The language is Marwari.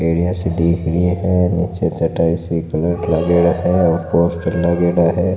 सी दिख रही है निचे चटाई सी कलर क्रेडा है और पोस्टर लागेड़ा है।